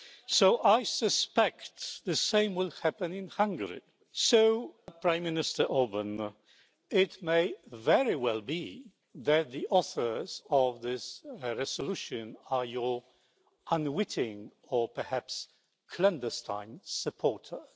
So I suspect the same will happen in Hungary. So, Prime Minister Orbán, it may very well be that the authors of this resolution are your unwitting or perhaps clandestine supporters.